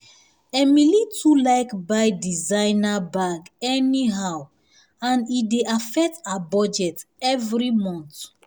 emily too like buy designer bag anyhow and e dey affect her budget every month